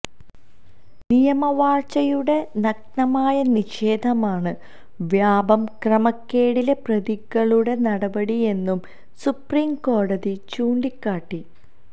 നിയമവാഴ്ചയുടെ നഗ്നമായ നിഷേധമാണ് വ്യാപം ക്രമക്കേടിലെ പ്രതികളുടെ നടപടിയെന്നു സുപ്രീം കോടതി ചൂണ്ടിക്കാട്ടി